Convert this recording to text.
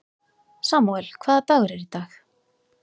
Samúel, hvaða dagur er í dag?